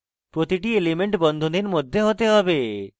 প্রতিটি element বন্ধনীর মধ্যে হতে হবে